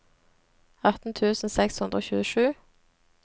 atten tusen seks hundre og tjuesju